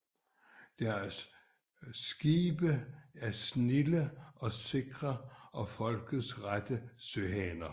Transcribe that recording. Deres Skibe er snilde og sikre og Folket rette Søhaner